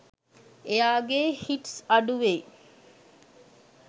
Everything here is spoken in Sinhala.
එයාගෙ හිට්ස් අඩු වෙයි